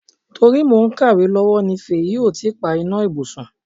To ri mo ń kàwé lowo ní Fèyí ò tí pa iná ibùsùn.